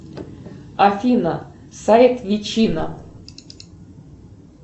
афина сайт вичина